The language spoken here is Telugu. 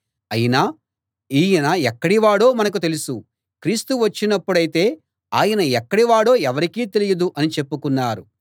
అయినా ఈయన ఎక్కడి వాడో మనకు తెలుసు క్రీస్తు వచ్చినప్పుడైతే ఆయన ఎక్కడి వాడో ఎవరికీ తెలియదు అని చెప్పుకున్నారు